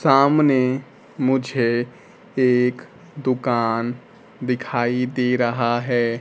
सामने मुझे एक दुकान दिखाई दे रहा है।